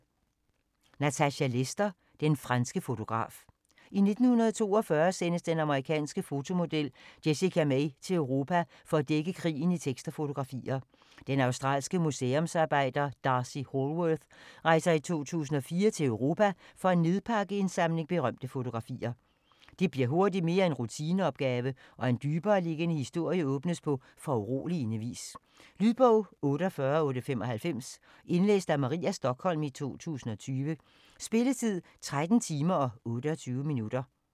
Lester, Natasha: Den franske fotograf I 1942 sendes den amerikanske fotomodel Jessica May til Europa for at dække krigen i tekst og fotografier. Den australske museumsarbejder D'Arcy Hallworth rejser i 2004 til Europa for at nedpakke en samling berømte fotografier. Det bliver hurtigt mere end en rutineopgave, og en dybereliggende historie åbnes på foruroligende vis. Lydbog 48895 Indlæst af Maria Stokholm, 2020. Spilletid: 13 timer, 28 minutter.